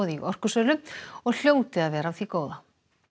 í orkusölu og hljóti að vera af því góða